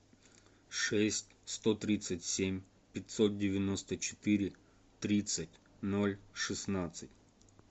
шесть сто тридцать семь пятьсот девяносто четыре тридцать ноль шестнадцать